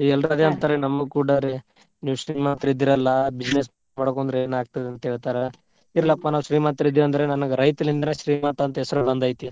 ಈಗ ಎಲ್ರು ಅದೇ ಅಂತಾರ್ರಿ ನಮ್ಗ್ ಕುಡಾರಿ ನೀವ್ ಶ್ರೀಮಂತರಿದ್ದೀರಲ್ಲಾ business ಮಾಡ್ಕೊಂಡ್ರ್ ಏನಾಗ್ತದಂತ ಹೇಳ್ತಾರ. ಇರ್ಲಪ್ಪಾ ನಾವ್ ಶ್ರೀಮಂತ್ರ ಇದೆವೆಂದ್ರೆ ನನ್ಗ್ ರೈತನಿಂದಾನೇ ಶ್ರೀಮಂತ ಅಂತ ಹೆಸರು ಬಂದ್ ಐತಿ.